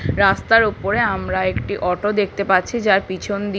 রাস্তার উপরে আমরা একটি অটো দেখতে পাচ্ছি যার পিছন দি--